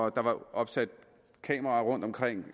at der var opsat kameraer rundtomkring